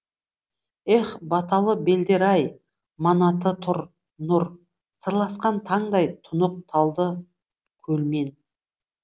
ех баталы белдер ай манаты нұр сырласқан таңдай тұнық талдыкөлмен